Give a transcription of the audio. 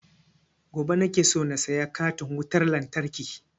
Gobe nake so na saya katin wutan lantarkin